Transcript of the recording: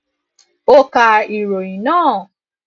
ó ka ìròyìn náà